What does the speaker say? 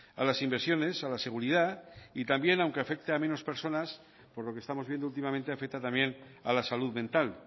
a las inversiones a la seguridad y también aunque afecte a menos personas por lo que estamos viendo últimamente afecta también a la salud mental